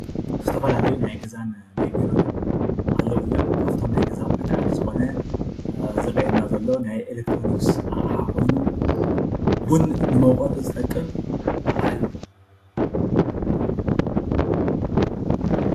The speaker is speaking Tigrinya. ዝተፋላለዩ ናይ ገዛን ናይ ቢሮን ኣቑሑ ኣለዉ እዮም፡፡ ካብቶሞ ናይ ገዛ ኣቑሑቱ ሓደ ዝኾነ ዘረእየና ዘሎ ናይ አሌትሮኒክስ ኣቕሓ ኮይኑ ቡን ንመዉቀጢ ዝጠቅም ኣቕሓ አዩ፡፡